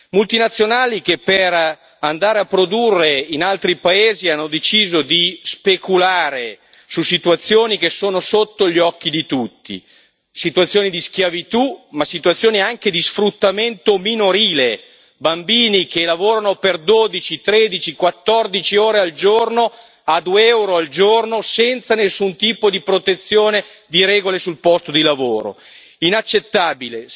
Multinazionali che per andare a produrre in altri paesi hanno deciso di speculare su situazioni che sono sotto gli occhi di tutti, situazioni di schiavitù ma situazioni anche di sfruttamento minorile, bambini che lavorano per dodici, tredici, quattordici ore al giorno a 2 euro al giorno senza nessun tipo di protezione, di regole sul posto di lavoro, è inaccettabile.